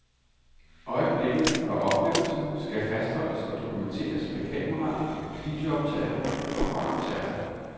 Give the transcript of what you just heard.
Øjeblikket og oplevelsen skal fastholdes og dokumenteres med kameraer, videooptagere og båndoptagere.